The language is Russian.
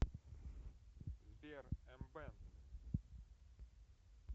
сбер эмбэнд